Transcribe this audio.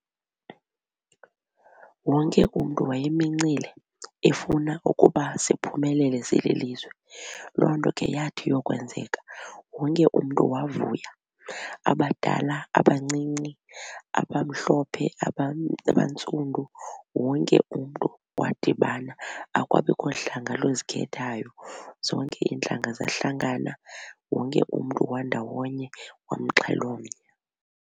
Wonke umntu wayemincimile efuna ukuba siphumelele sililizwe. Loo nto ke yathi yokwenzeka wonke umntu wavuya abadala abancinci abamhlophe abantsundu. Wonke umntu wadibana akwabikho hlanga luzikhethayo zonke iintlanga zahlangana wonke umntu wandawonye wamxhelomnye.